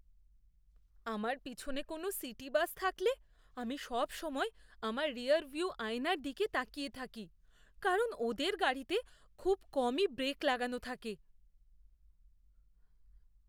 আমার পিছনে কোনো সিটি বাস থাকলে আমি সবসময় আমার রিয়ারভিউ আয়নার দিকে তাকিয়ে থাকি, কারণ ওদের গাড়িতে খুব কমই ব্রেক লাগানো থাকে।